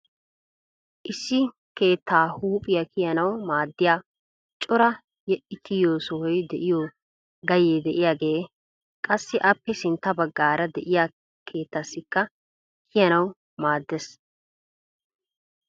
Issi keetta huuphiya kiyyanaw maaddiya cora yedhdhi kiyyiyo sohoy de'iyo gayye de'iyaage qassi appe sintta baggaara de'iyaa keettaassikka kiyyanaw maaddees.